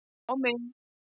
á mig.